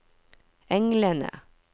englene